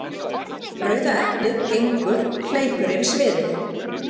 Rauða eplið gengur/hleypur yfir sviðið.